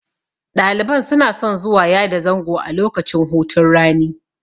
Ɗaliban suna son zuwa yada zango a lokacin hutun rani.